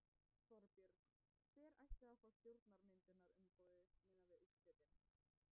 Þorbjörn: Hver ætti að fá stjórnarmyndunarumboðið miðað við úrslitin?